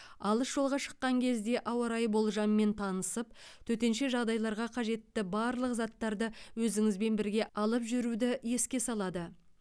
алыс жолға шыққан кезде ауа райы болжамымен танысып төтенше жағдайларға қажетті барлық заттарды өзіңізбен бірге алып жүруді еске салады